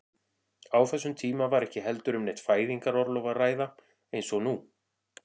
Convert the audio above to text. Á þessum tíma var ekki heldur um neitt fæðingarorlof að ræða eins og nú er.